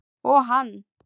Og hann?